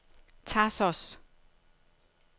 Thassos